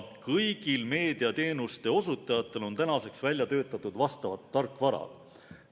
Kõigil meediateenuste osutajatel on tänaseks välja töötatud vastavad tarkvarad.